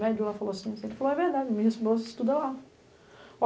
Médio lá falou assim, ele falou, é verdade, minha esposa estuda lá.